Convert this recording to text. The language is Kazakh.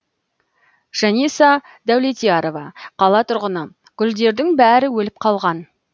жаниса даулетярова қала тұрғыны гүлдердің бәрі өліп қалған